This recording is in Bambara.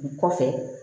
O kɔfɛ